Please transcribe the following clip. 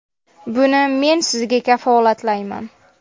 Buni men sizga kafolatlayman.